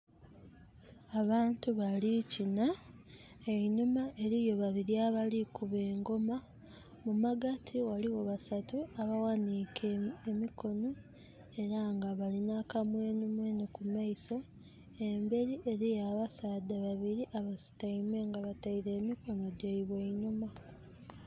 Abantu bali kina. Einhuma eriyo babiri abali kuuba engoma. Mu magati waliwo basaatu aba ghanike emikono era nga balina kamwenumwenu mu maiso. Embeeri eriyo abasaadha babiri abasutaime nga bataire emikono gyaibwe einhuma